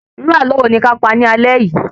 Irú ààlọ́ wo ni kí a pa ni alé yìí?